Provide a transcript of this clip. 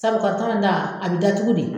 Sabu in ta a bɛ datugu de.